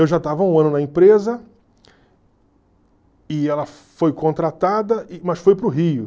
Eu já estava um ano na empresa e ela foi contratada, mas foi para o Rio.